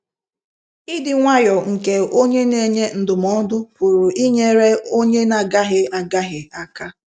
Ịdị nwayọọ nke onye n'enye ndụmọdụ pụrụ inyere onye n'agahie agahie aka.